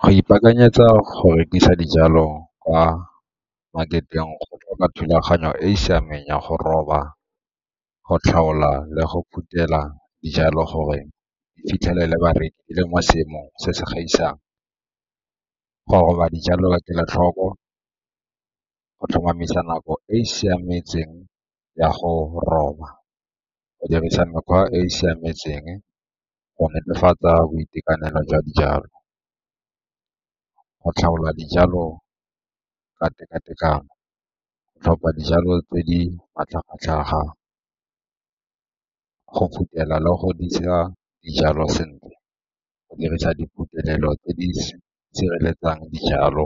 Go ipakanyetsa go rekisa dijalo kwa market-eng go tlhoka thulaganyo e e siameng ya go roba, go tlhaola le go phuthela dijalo gore di fitlhelele bareki le mo seemong se se gaisang. Go roba dijalo ka kelotlhoko go tlhomamisa nako e e siametseng ya go roba, go dirisa mekgwa e e siametseng, go netefatsa boitekanelo jwa dijalo, go tlhaola dijalo ka teka-tekano, go tlhopha dijalo tse di matlhagatlhaga, go phuthela le go di ntsha dijalo sentle, go dirisa diphuthelelo tse di sireletsang dijalo,